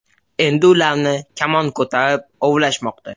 Endi ularni kamon ko‘tarib ovlashmoqda.